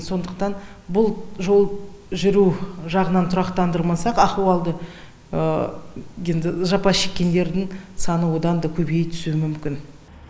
сондықтан бұл жол жүру жағынан тұрақтандырмасақ ахуалды енді жапа шеккендердің саны одан да көбейе түсуі мүмкін